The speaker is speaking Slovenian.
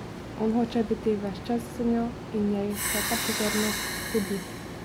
On hoče biti ves čas z njo in njej vsa ta pozornost godi.